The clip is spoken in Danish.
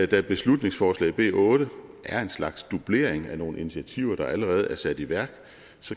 da beslutningsforslag b otte er en slags dublering af nogle initiativer der allerede er sat i værk